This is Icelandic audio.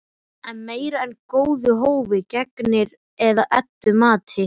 Það er meira en góðu hófi gegnir að Eddu mati.